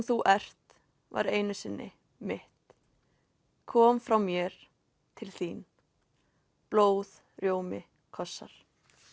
þú ert var einu sinni mitt kom frá mér til þín blóð rjómi kossar